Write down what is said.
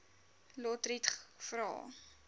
lotriet vra